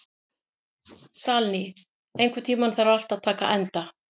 Salný, einhvern tímann þarf allt að taka enda.